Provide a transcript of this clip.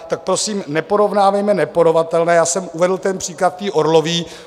Tak prosím, neporovnávejme neporovnatelné - já jsem uvedl ten příklad Orlové.